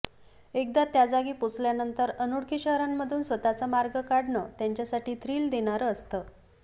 एकदा त्या जागी पोहोचल्यानंतर अनोळखी शहरांमधून स्वतःचा मार्ग काढणं त्यांच्यासाठी थ्रिल देणारं असतं